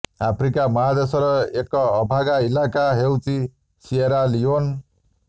Africa ମହାଦେଶର ଏକ ଅଭାଗା ଇଲାକା ହେଉଛି ସିଏରା ଲିଓନ୍